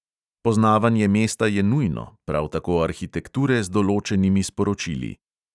Poznavanje mesta je nujno, prav tako arhitekture z določenimi sporočili.